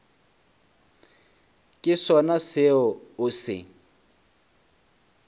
ke sona seo o se